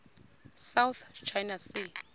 south china sea